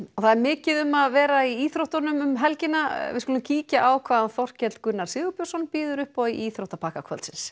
það er mikið um að vera í íþróttunum um helgina við skulum kíkja hvað Þorkell Gunnar Sigurbjörnsson býður upp í íþróttum